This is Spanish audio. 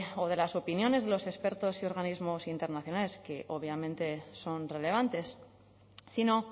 o de las opiniones de los expertos y organismos internacionales que obviamente son relevantes sino